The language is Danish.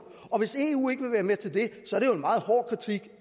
og hvis eu ikke vil være med til det